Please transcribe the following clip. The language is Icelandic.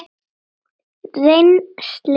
Rennsli í krana!